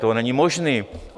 To není možné.